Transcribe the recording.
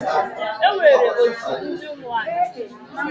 E nwere otu ndiomu anị.